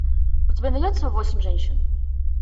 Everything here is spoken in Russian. у тебя найдется восемь женщин